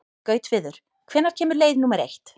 Gautviður, hvenær kemur leið númer eitt?